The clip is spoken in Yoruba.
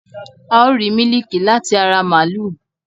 A ó rìí mílíkì láti ara màlúù